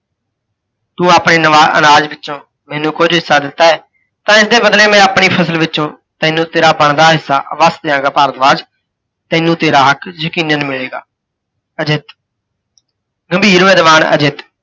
ਤੂੰ ਆਪਣੇ ਅਨਾਜ ਵਿੱਚੋਂ ਮੈਨੂੰ ਕੁੱਝ ਹਿੱਸਾ ਦਿੱਤਾ ਹੈ, ਤਾਂ ਇਸਦੇ ਬਦਲੇ ਮੈਂ ਆਪਣੀ ਫ਼ਸਲ ਵਿੱਚੋਂ ਤੈਨੂੰ ਤੇਰਾ ਬਣਦਾ ਹਿੱਸਾ ਅਵਸ਼ਯ ਦਿਆਂਗਾ ਭਾਰਦਵਾਜ, ਤੈਨੂੰ ਤੇਰਾ ਹੱਕ ਯਕੀਨਨ ਮਿਲੇਗਾ। ਅਜਿੱਤ, ਗੰਭੀਰ ਵਿਧਵਾਨ ਅਜਿੱਤ